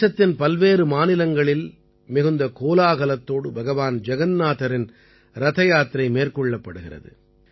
தேசத்தின் பல்வேறு மாநிலங்களில் மிகுந்த கோலாகலத்தோடு பகவான் ஜகன்நாதரின் ரதயாத்திரை மேற்கொள்ளப்படுகிறது